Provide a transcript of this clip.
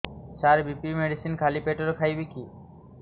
ସାର BP medicine ଖାଲି ପେଟରେ ଖାଇବି କି